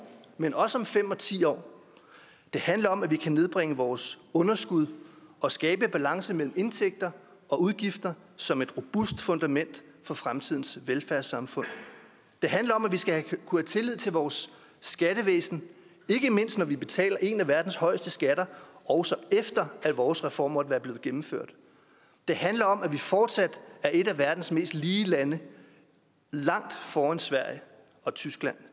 men også om fem og ti år det handler om at vi kan nedbringe vores underskud og skabe balance mellem indtægter og udgifter som et robust fundament for fremtidens velfærdssamfund det handler om at vi skal kunne have tillid til vores skattevæsen ikke mindst når vi betaler en af verdens højeste skatter også efter at vores reform måtte være blevet gennemført det handler om at vi fortsat er et af verdens mest lige lande langt foran sverige og tyskland